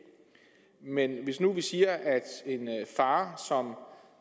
men hvis vi nu siger at en far som